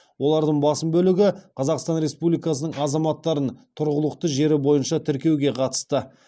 олардың басым бөлігі қазақстан республикасының азаматтарын тұрғылықты жері бойынша тіркеуге қатысты